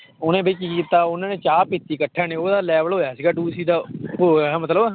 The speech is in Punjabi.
ਉਹਨੇ ਵੀ ਕੀ ਕੀਤਾ ਉਹਨਾਂ ਨੇ ਚਾਹ ਪੀਤੀ ਇਕੱਠਿਆਂ ਨੇ ਉਹਦਾ level ਹੋਇਆ ਸੀ ਉਹ ਹੋਇਆ ਮਤਲਬ,